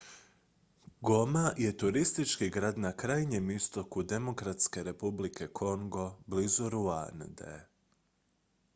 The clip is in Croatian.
goma je turistički grad na krajnjem istoku demokratske republike kongo blizu ruande